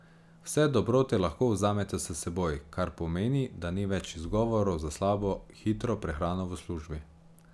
Vse dobrote lahko vzamete s seboj, kar pomeni, da ni več izgovorov za slabo hitro prehrano v službi.